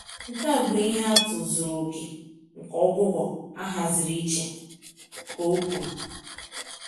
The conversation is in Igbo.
"Nke a bụ ihe atụ zuru oke nke ọgwụgwọ ahaziri iche," ka ọ kwuru.